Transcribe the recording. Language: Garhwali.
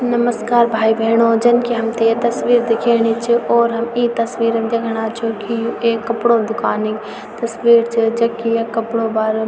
नमस्कार भाई-भेणो जन की हमथे ये तस्वीर दिखेनी च और हम ई तस्वीर म दिखणा छो की यु एक कपड़ो दुकानी तस्वीर च जख की यख कपड़ो क बारम --